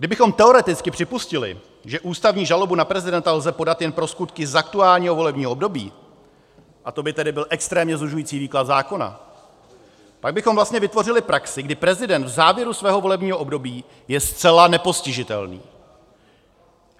Kdybychom teoreticky připustili, že ústavní žalobu na prezidenta lze podat jen pro skutky z aktuálního volebního období, a to by tedy byl extrémně zužující výklad zákona, tak bychom vlastně vytvořili praxi, kdy prezident v závěru svého volebního období je zcela nepostižitelný.